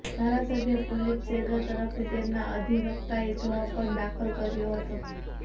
ધારાસભ્ય કુલદીપ સેંગર તરફથી તેમના અધિવક્તાએ જવાબ પણ દાખલ કર્યો હતો